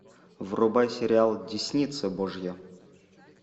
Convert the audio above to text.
врубай сериал десница божья